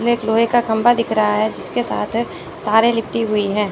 में एक लोहे का खंबा दिख रहा है जिसके साथ तारें लिपटी हुई हैं।